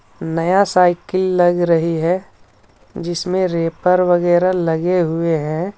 नया साइकील लग रही है जिसमें रेपर वगैरा लगे हुए हैं.